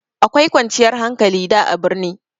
Akwai kwanciyar hankali da a birni.